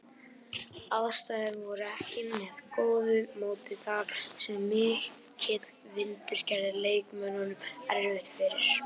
Aðstæður voru ekki með góðu móti þar sem mikill vindur gerði leikmönnum erfitt fyrir.